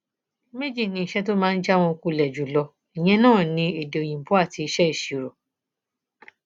méjì ni iṣẹ tó máa ń já wọn kulẹ jù lọ ìyẹn náà ní èdè òyìnbó àti iṣẹ ìṣirò